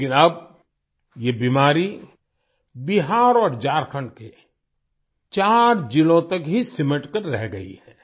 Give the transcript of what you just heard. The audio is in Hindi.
लेकिन अब ये बीमारी बिहार और झारखंड के 4 जिलों तक ही सिमटकर रह गई है